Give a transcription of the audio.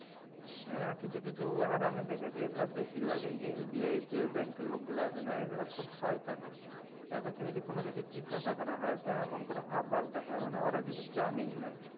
হ্যাঁ কিছু কিছু হারামি দেখেছি এগুলা বেশির ভাগি SBI এর ব্যাঙ্কের লোকগুলা আছেনা এগুলা খুব শয়তান হয়। এদেরকে যদি কোনও কিছু জিজ্ঞাসা করা হয় তো এমন করে হাবভাব দেখায় মনে হয় ওরা কিছু জানেই না।